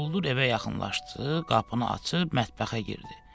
Quldur evə yaxınlaşdı, qapını açıb mətbəxə girdi.